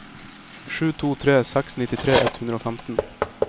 sju to tre seks nittitre ett hundre og femten